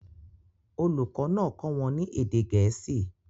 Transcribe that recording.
Olùkọ́ náà kọ́ wọn ní èdè Gẹ̀ẹ́sì